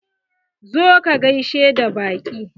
Zo ka gaishe da baƙi!